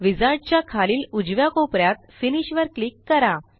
wizard च्या खालील उजव्या कोप यात फिनिश वर क्लिक करा